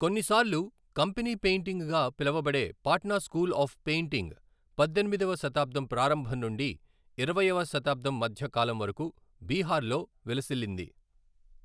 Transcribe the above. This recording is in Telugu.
కొన్నిసార్లు 'కంపెనీ పెయింటింగ్'గా పిలవబడే పాట్నా స్కూల్ ఆఫ్ పెయింటింగ్ పద్దెనిమిదవ శతాబ్దం ప్రారంభం నుండి ఇరవై వ శతాబ్దం మధ్య కాలం వరకు బీహార్లో విలసిల్లింది.